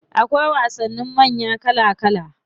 Akwai wasannin manya kala kala.